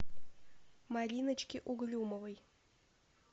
мариночки угрюмовой